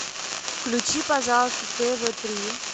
включи пожалуйста тв три